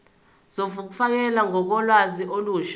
zokufakelwa kolwazi olusha